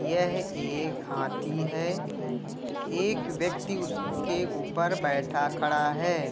यह एक हाथी है। एक व्यक्ति उसके ऊपर बैठा खड़ा है।